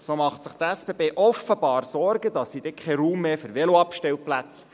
So macht sich die SBB offenbar Sorgen, dass sie dann keinen Raum mehr hätte für Veloabstellplätze.